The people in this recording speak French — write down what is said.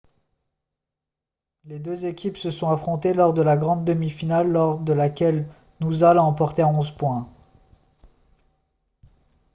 les deux équipes se sont affrontées lors de la grande demi-finale lors de laquelle noosa l'a emporté à 11 points